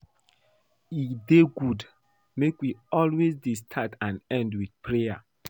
E dey good make we, always dey start and end with prayer